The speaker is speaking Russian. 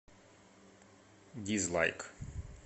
дизлайк